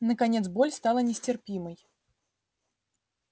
наконец боль стала нестерпимой